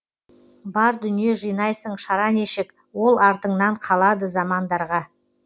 бар дүние жинайсың шара нешік ол артыңнаң қалады замандарға